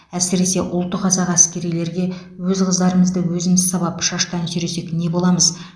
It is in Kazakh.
әсіресе ұлты қазақ әскерилерге өз қыздарымызды өзіміз сабап шаштан сүйресек не боламыз